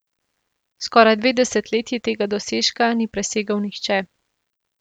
Skoraj dve desetletji tega dosežka ni presegel nihče.